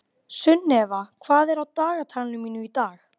Maður er alltaf svo lengi að taka saman.